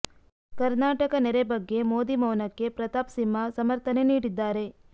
ಕರ್ನಾಟಕ ನೆರೆ ಬಗ್ಗೆ ಮೋದಿ ಮೌನಕ್ಕೆ ಪ್ರತಾಪ್ ಸಿಂಹ ಸಮರ್ಥನೆ ನೀಡಿದ್ದಾರೆ